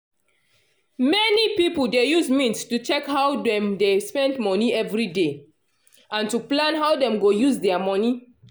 many people dey use mint to check how dem dey spend monie everyday and to plan how them go use dia monie